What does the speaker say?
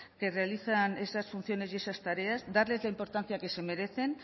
que realizan esas funciones y esas tareas darles la importancia que se merecen